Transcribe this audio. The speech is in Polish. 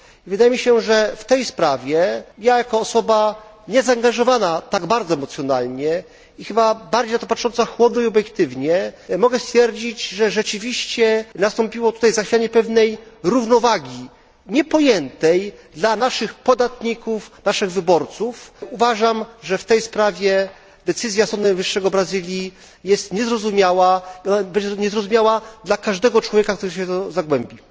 Wydaje mi się, że w tej sprawie ja, jako osoba niezaangażowana tak bardzo emocjonalnie i chyba bardziej patrząca na to chłodno i obiektywnie, mogę stwierdzić, że rzeczywiście nastąpiło tutaj zachwianie pewnej równowagi, niepojętej dla naszych podatników, dla naszych wyborców. Uważam, że w tej sprawie decyzja Sądu Najwyższego Brazylii jest niezrozumiała i będzie niezrozumiała dla każdego człowieka, który się w to zagłębi.